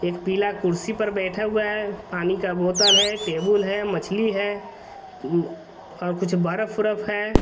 एक पीला कुर्सी पर बैठा हुआ है पानी का बोतल है टेबुल है मछ्ली है म और कुछ बर्फ-वर्फ है।